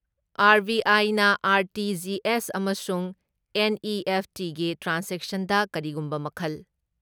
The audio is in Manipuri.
ꯑꯥꯔ.ꯕꯤ.ꯑꯥꯏꯅ ꯑꯥꯔ.ꯇꯤ.ꯖꯤ.ꯑꯦꯁ ꯑꯃꯁꯨꯡ ꯑꯦꯟ.ꯏ.ꯑꯦꯐ.ꯇꯤꯒꯤ ꯇ꯭ꯔꯥꯟꯖꯦꯛꯁꯟꯗ ꯀꯔꯤꯒꯨꯝꯕ ꯃꯈꯜ